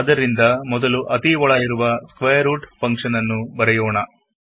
ಆದ್ದರಿಂದಮೊದಲು ಅತೀ ಒಳ ಇರುವ ಸ್ಕ್ವಯರ್ ರೂಟ್ ಫಂಕ್ಷನ್ ನ್ನು ಬರೆಯೋಣ